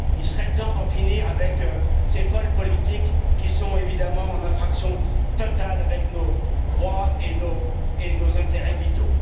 Il serait temps d'en finir avec ces folles politiques, qui sont évidemment en infraction totale avec nos droits et nos intérêts vitaux.